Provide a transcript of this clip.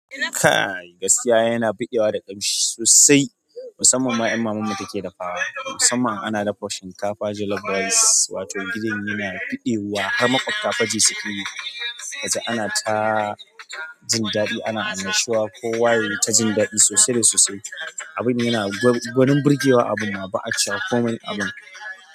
Kaaaai! Gaskiya yana bigewa da kamshi sosai, musamman ma in mamanka take dafawa. Musamman ana dafa shinkafa jollof rice wato gidan yana buɗewa har maƙwabta fa ji suke yi. Kaji ana ta jin daɗi ana annashuwa kowa yayi ta jin daɗi sosai da sosai. Abin yana gwanin birgewa abun ma ba'a cewa komai abun.